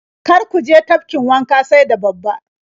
Kar ku je tafkin wanka sai da babba.